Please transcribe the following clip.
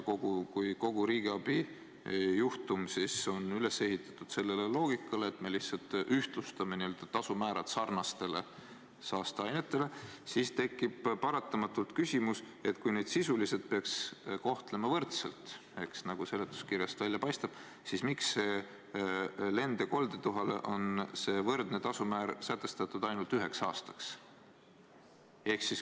Kui kogu riigiabi juhtum on üles ehitatud sellele loogikale, et me lihtsalt ühtlustame tasumäärad teiste saasteainete omadega, siis tekib paratamatult küsimus, et kui neid aineid sisuliselt peaks kohtlema võrdselt, nagu seletuskirjast välja paistab, siis miks lend- ja koldetuhale on see teistega võrdne tasumäär sätestatud ainult üheks aastaks.